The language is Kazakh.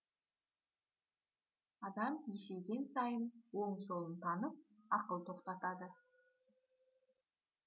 адам есейген сайын оң солын танып ақыл тоқтатады